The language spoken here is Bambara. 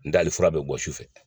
hali fura bɛ bɔ sufɛ.